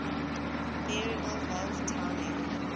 variable valve timing